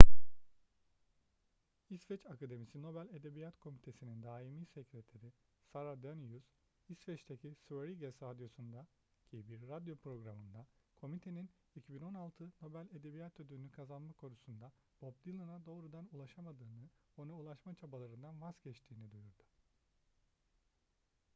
i̇sveç akademisi nobel edebiyat komitesi'nin daimi sekreteri sara danius i̇sveç'teki sveriges radyosu'ndaki bir radyo programında komitenin 2016 nobel edebiyat ödülü'nü kazanma konusunda bob dylan'a doğrudan ulaşamadığını ona ulaşma çabalarından vazgeçtiğini duyurdu